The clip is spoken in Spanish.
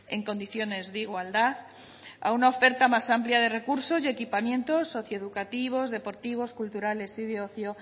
en condiciones de igualdad a una oferta más amplia de recurso y equipamientos socioeducativos deportivos culturales y de ocio